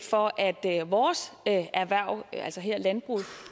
for at vores erhverv her landbruget